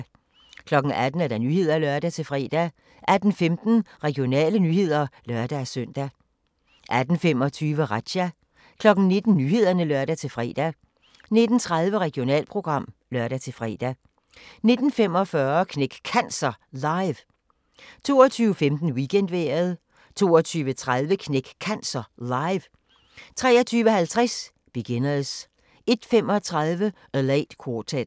18:00: Nyhederne (lør-fre) 18:15: Regionale nyheder (lør-søn) 18:25: Razzia 19:00: Nyhederne (lør-fre) 19:30: Regionalprogram (lør-fre) 19:45: Knæk Cancer Live 22:15: Weekendvejret 22:30: Knæk Cancer Live 23:50: Beginners 01:35: A Late Quartet